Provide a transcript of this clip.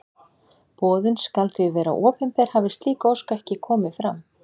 Boðun skal því vera opinber hafi slík ósk ekki komið fram.